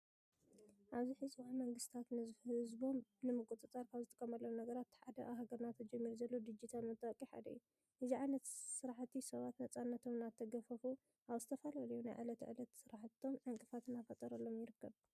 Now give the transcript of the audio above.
ኣብዚ ሕዚ እዋን መንግስታት ንህዝቦም ንምቁፅፃር ካብ ዝጥቀምሎም ነገራት እቲ ሓደ ኣብ ሃገርና ተጀሚሩ ዘሎ ድጅታል መታወቂያ ሓደ እዩ። እዚ ዓይነት ስራሕቲ ሰባት ነፃነቶም እናተገፈፉ ኣብ ዝተላለለዩ ናይ ዕለት ዕለት ስራሕቶም ዕንቅፋት እናፈጠረሎም ይርከብ።